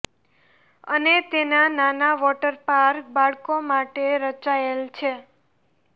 અને તેના નાના વોટર પાર્ક બાળકો માટે રચાયેલ છે